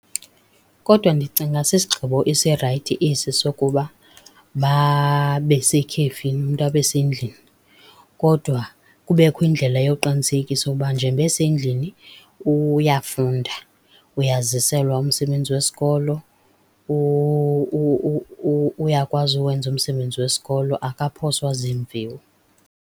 Kodwa ndicinga sisigqibo esirayithi esi sokuba babe sekhefini, umntu abesendlini kodwa kubekho indlela yokuqinisekisa ukuba njengoba esendlini uyafunda. Uyaziselwa umsebenzi wesikolo, uyakwazi uwenza umsebenzi wesikolo akaphoswa ziimviwo.